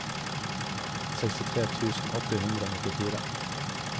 sekstitre tusen åtte hundre og nittifire